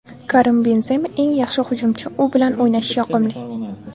Karim Benzema eng yaxshi hujumchi, u bilan o‘ynash yoqimli.